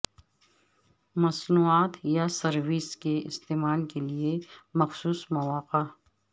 مصنوعات یا سروس کے استعمال کے لئے مخصوص مواقع